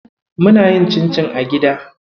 Muna yin cincin a gida.